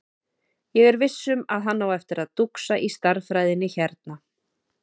Ég er viss um að hann á eftir að dúxa í stærðfræðinni hérna.